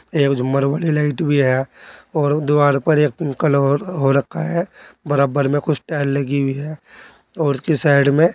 एक झूमर वाली लाइट भी है और दुआर पर एक उम्म कलर हो रखा है। बरबाबर में कुछ टाइल लगी हुई हैं और उसके साइड में --